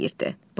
deyirdi.